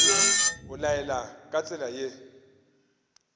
o laela ka tsela ye